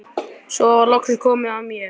Svo var loks komið að mér.